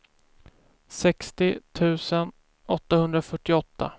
sextio tusen åttahundrafyrtioåtta